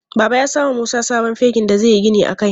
Baba ya samo wa Musa sabon fegin da zai yi gini a kai.